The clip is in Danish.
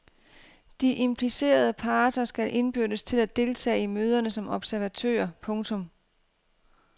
De implicerede parter skal indbydes til at deltage i møderne som observatører. punktum